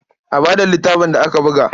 A ba da littafin da aka buga.